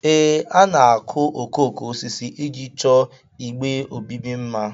Ee, a na-akụ okooko osisi iji chọọ igbe obibi mma